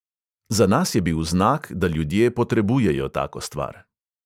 Za nas je bil znak, da ljudje potrebujejo tako stvar.